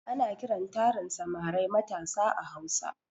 Ana kiran tarin samarai matasa a hausa